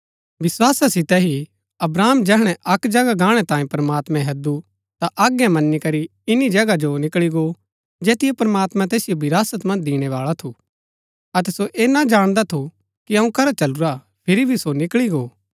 विस्‍वासा सितै ही अब्राहम जैहणै अक्क जगह गाणै तांये प्रमात्मैं हैदु ता आज्ञा मन्‍नी करी इन्‍नी जगहा जो निकळी गो जैतिओ प्रमात्मां तैसिओ विरासत मन्ज दिणैबाळा थू अतै सो ऐह ना जाणदा थू कि अऊँ करा चलुरा हा फिरी भी सो निकळी गो